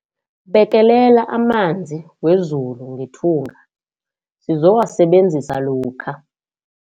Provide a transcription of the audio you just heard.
Bekelela amanzi wezulu ngethunga sizowasebenzisa lokha.